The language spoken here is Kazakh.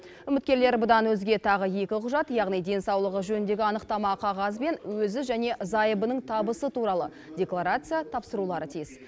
үміткерлер бұдан өзге тағы екі құжат яғни денсаулығы жөніндегі анықтама қағаз бен өзі және зайыбының табысы туралы декларация тапсырулары тиіс